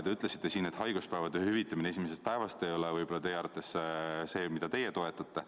Te ütlesite siin, et haiguspäevade hüvitamine esimesest päevast ei ole see, mida te toetate.